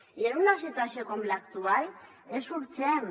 i en una situació com l’actual és urgent